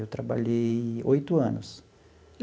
Eu trabalhei oito anos.